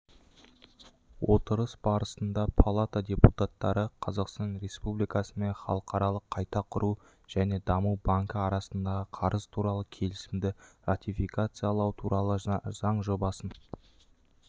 отырыс барысында палата депутаттары қазақстан республикасы мен халықаралық қайта құру және даму банкі арасындағы қарыз туралы келісімді ратификациялау туралы заң жобасын